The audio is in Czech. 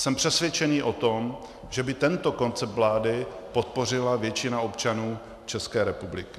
Jsem přesvědčený o tom, že by tento koncept vlády podpořila většina občanů České republiky.